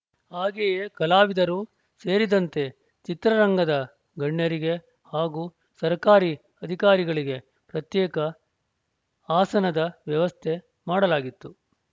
ಹಾಗೆಯೇ ಕಲಾವಿದರು ಸೇರಿದಂತೆ ಚಿತ್ರರಂಗದ ಗಣ್ಯರಿಗೆ ಹಾಗೂ ಸರ್ಕಾರಿ ಅಧಿಕಾರಿಗಳಿಗೆ ಪ್ರತ್ಯೇಕ ಆಸನದ ವ್ಯವಸ್ಥೆ ಮಾಡಲಾಗಿತ್ತು